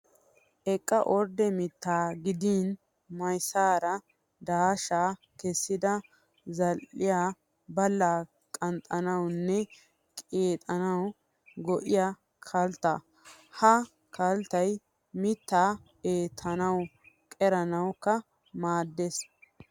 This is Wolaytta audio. Eqqa ordde mittaa gidin miyyessaara daashshaa kessidi zaa'iya ballaa qanxxanawu nne qixanawu go''iya kattaa. Ha kalttay mittaa eettanawu qeranawukka maaddees.